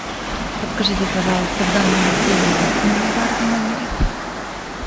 подскажите пожалуйста в данном отеле есть мини бар в номере